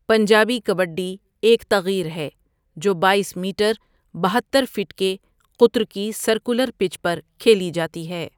پنجابی کبڈی ایک تغیر ہے جو باٮٔیس میٹر بہتتر فٹ کے قطر کی سرکلر پچ پر کھیلی جاتی ہے.